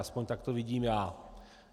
Aspoň tak to vidím já.